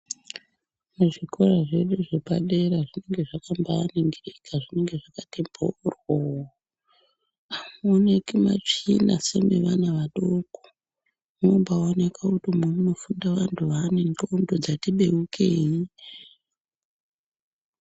Muzvikora zvedu zvepadera zvinenge zvakambaningirika, zvine zvakati mboryo! Hamuoneki matsvina semevana vadoko. Munombaoneka kuti umwu munofunda vantu vaane ndxondo dzati beukei.